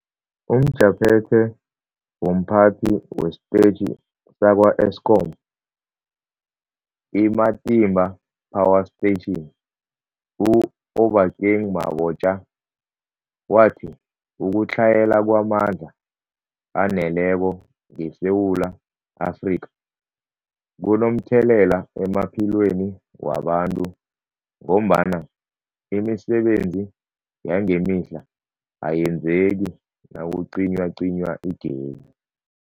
UmJaphethe womPhathi wesiTetjhi sakwa-Eskom i-Matimba Power Station u-Obakeng Mabotja wathi ukutlhayela kwamandla aneleko ngeSewula Afrika kunomthelela emaphilweni wabantu ngombana imisebenzi yangemihla ayenzeki nakucinywacinywa igezi.